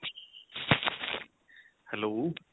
hello